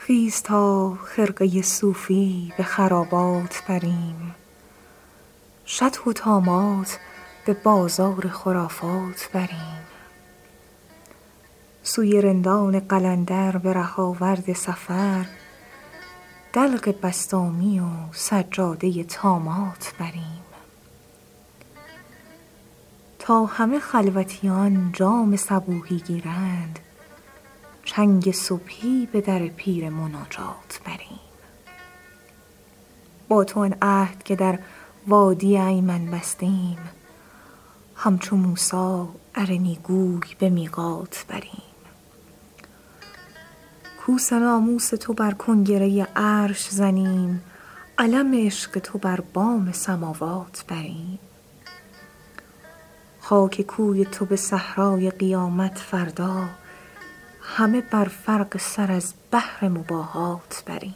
خیز تا خرقه صوفی به خرابات بریم شطح و طامات به بازار خرافات بریم سوی رندان قلندر به ره آورد سفر دلق بسطامی و سجاده طامات بریم تا همه خلوتیان جام صبوحی گیرند چنگ صبحی به در پیر مناجات بریم با تو آن عهد که در وادی ایمن بستیم همچو موسی ارنی گوی به میقات بریم کوس ناموس تو بر کنگره عرش زنیم علم عشق تو بر بام سماوات بریم خاک کوی تو به صحرای قیامت فردا همه بر فرق سر از بهر مباهات بریم